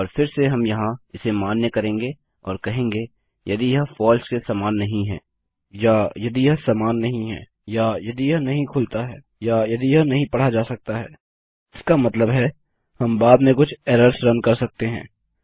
और फिरसे हम यहाँ इसे मान्य करेंगे और कहेंगे यदि यह फलसे के समान नहीं है या यदि यह समान नहीं है या यदि यह नहीं खुलता है या यदि यह नहीं पढ़ा जा सकता है इसका मतलब है हम बाद में कुछ एरर्स रन कर सकते हैं